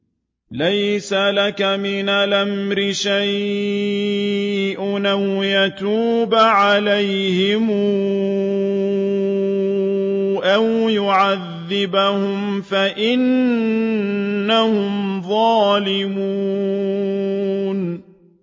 لَيْسَ لَكَ مِنَ الْأَمْرِ شَيْءٌ أَوْ يَتُوبَ عَلَيْهِمْ أَوْ يُعَذِّبَهُمْ فَإِنَّهُمْ ظَالِمُونَ